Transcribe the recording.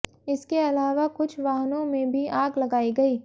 इसके अलावा कुछ वाहनों में भी आग लगाई गई